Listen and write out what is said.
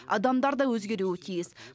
адамдар да өзгеруі тиіс